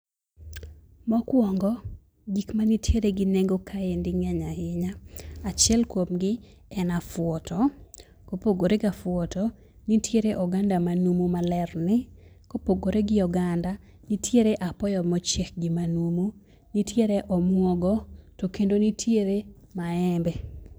Mokuongo, gik mantiere gi nengo kaendi ng'eny ahinya. Achiel kuomgi en afuoto, mopogore gafuoto, nitiere oganda manumu malerni. Kopogore gi oganda, nitiere apoyo mochiek gi manumu. Nitiere omuogo, to kendo nitiere maembe.